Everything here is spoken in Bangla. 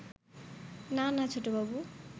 না না ছোটবাবু